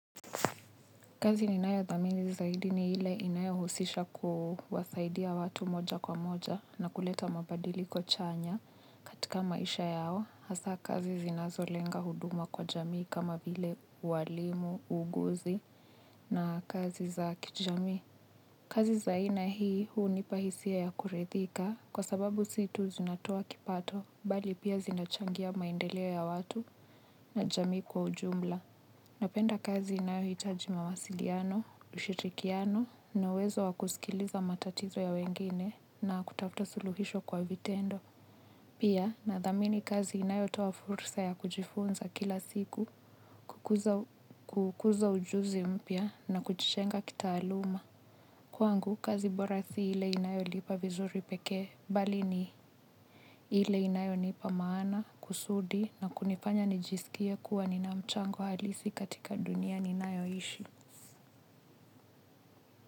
Kazi ninayothamini zaidi ni ile inayohusisha kuwasaidia watu moja kwa moja na kuleta mabadiliko chanya. Tika maisha yao, hasa kazi zinazolenga huduma kwa jamii kama vile uwalimu, uuguzi na kazi za kijamii. Kazi za aina hii hunipa hisia ya kurithika kwa sababu si tu zinatoa kipato, bali pia zinachangia maendeleo ya watu na jamii kwa ujumla. Napenda kazi inayohitajima mawasiliano, ushirikiano na uwezo wa kusikiliza matatizo ya wengine na kutafuta suluhisho kwa vitendo. Pia nathamini kazi inayotoa fursa ya kujifunza kila siku, kukuza ujuzi mpya na kujijenga kitaaluma. Kwangu, kazi bora si ile inayolipa vizuri pekee, bali ni ile inayonipa maana, kusudi na kunifanya nijisikie kuwa nina mchango halisi katika dunia ninayoishi.